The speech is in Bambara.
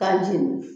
K'a jeni